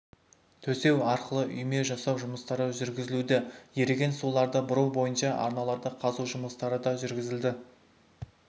төсеу арқылы үйме жасау жұмыстары жүргізілуде еріген суларды бұру бойынша арналарды қазу жұмыстары да жүргізілді